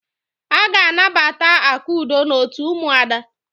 Aga anabata Akudo n'otu ụmụada.